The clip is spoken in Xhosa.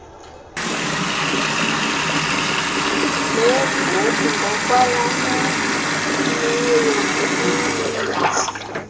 leevoti ngokwalameneyo kubuninzi